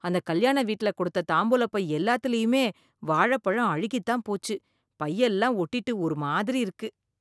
அந்த கல்யாண வீட்ல கொடுத்த தாம்பூலப்பை எல்லாத்துலயுமே வாழைப்பழம் அழுகி தான் போச்சு, பையெல்லாம் ஓட்டிட்டு ஒரு மாதிரி இருக்கு.